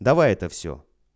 давай это всё